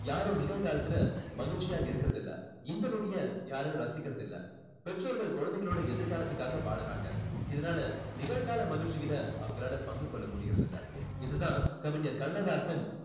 யாரும் நிகழ்காலத்துல மகிழ்ச்சியா இருக்குறதில்ல இந்த நொடிய யாரும் ரசிக்கிறது இல்லை பெற்றோர்கள் குழந்தைகளோட எதிர் காலத்துக்காக வாழுறாங்க இதனால நிகழ் கால மகிழ்ச்சியில அவங்களால பங்கு கொள்ள முடியுறது இல்ல இது தான் கவிஞர் கண்ணதாசன்